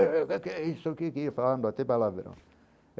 falando, até palavrão.